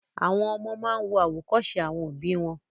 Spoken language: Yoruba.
Àwọn ọmọ máa ń wo àwòkọ́ṣe àwọn òbí